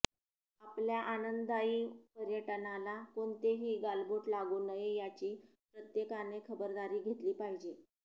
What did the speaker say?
आपल्या आनंददायी पर्यटनाला कोणतेही गालबोट लागू नये याची प्रत्येकाने खबरदारी घेतली पाहिजे